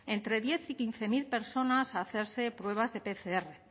entre diez mil y quince mil personas a hacerse pruebas de pcr